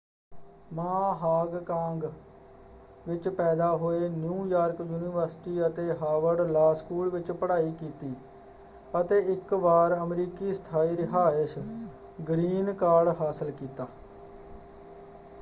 ਮਾ ਹਾਂਗ-ਕਾਂਗ ਵਿੱਚ ਪੈਦਾ ਹੋਏ ਨਿਊ-ਯਾਰਕ ਯੂਨੀਵਰਸਿਟੀ ਅਤੇ ਹਾਵਰਡ ਲਾਅ ਸਕੂਲ ਵਿੱਚ ਪੜ੍ਹਾਈ ਕੀਤੀ ਅਤੇ ਇੱਕ ਵਾਰ ਅਮਰੀਕੀ ਸਥਾਈ ਰਿਹਾਇਸ਼ ਗ੍ਰੀਨ ਕਾਰਡ” ਹਾਸਲ ਕੀਤਾ।